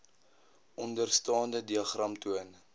onderstaande diagram toon